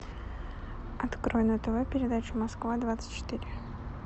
открой на тв передачу москва двадцать четыре